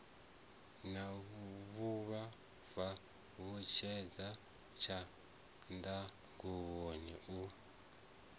na vhuvhava tshutshedzo tshanḓanguvhoni u